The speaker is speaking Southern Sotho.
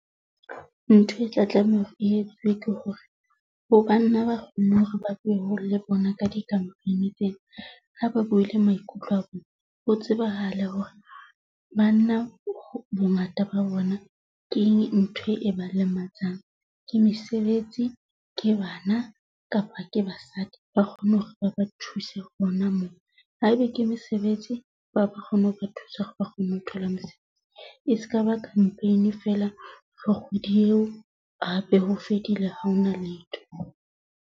Ntho e tla tlameha hore e etsuwe ke hore ho banna ba kgoneng hore ba le bona ka di-company tsena ha ba buile maikutlo a bona. Ho tsebahale hore banna bongata ba bona keng ntho e ba lematsang? Ke mesebetsi ke bana kapa ke basadi? Ba kgone hore ba ba thuse hona moo haebe ke mesebetsi ba kgone ho ba thusa hore ba kgone ho thola mosebetsi. E skaba campaign fela re kgwedi eo hape ho fedile ha hona letho.